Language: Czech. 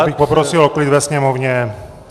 Já bych poprosil o klid ve sněmovně!